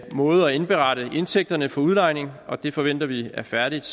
måde at indberette indtægterne for udlejning på og det forventer vi er færdigt